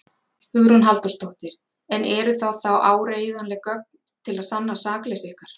Hugrún Halldórsdóttir: En eru það þá áreiðanleg gögn til að sanna sakleysi ykkar?